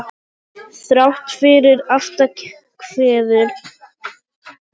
Þrátt fyrir aftakaveður sem komið var, gekk lendingin vel.